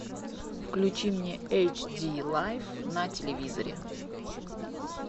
включи мне эйч ди лайф на телевизоре